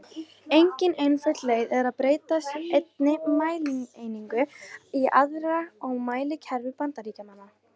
Engin einföld leið er að breyta einni mælieiningu í aðra í mælikerfi Bandaríkjamanna.